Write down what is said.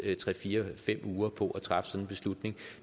fire fem uger på at træffe sådan en beslutning og